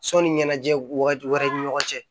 Sɔnni ɲɛnajɛ wagati wɛrɛw ni ɲɔgɔn cɛ